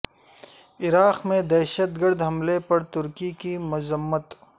عراق میں دہشت گرد حملے پر ترکی کی مذمت